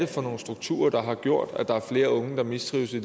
for nogle strukturer der har gjort at der er flere unge der mistrives i